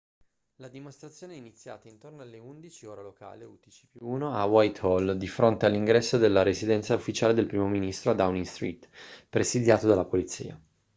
la dimostrazione è iniziata intorno alle 11:00 ora locale utc+1 a whitehall di fronte all'ingresso della residenza ufficiale del primo ministro a downing street presidiato dalla polizia